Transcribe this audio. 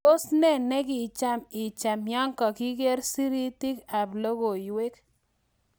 tos ne ne kocham ichame ya keger siritik ab logoiywek